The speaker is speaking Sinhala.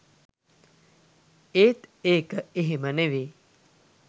එත් ඒක එහෙම නෙමේ